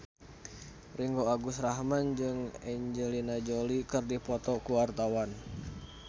Ringgo Agus Rahman jeung Angelina Jolie keur dipoto ku wartawan